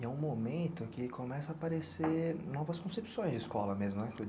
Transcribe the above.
E é um momento que começam a aparecer novas concepções de escola mesmo, não é?